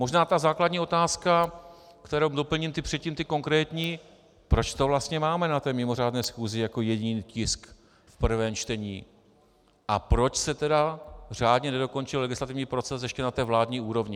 Možná ta základní otázka, kterou doplním předtím ty konkrétní, proč to vlastně máme na té mimořádné schůzi jako jediný tisk v prvém čtení, a proč se tedy řádně nedokončil legislativní proces ještě na té vládní úrovni.